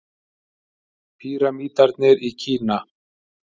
Pýramídarnir í Kína.